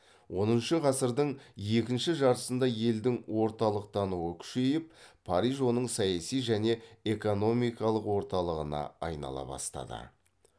оныншы ғасырдың екінші жартысында елдің орталықтануы күшейіп париж оның саяси және эконикалық орталығына айнала бастады